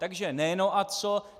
Takže ne "no a co".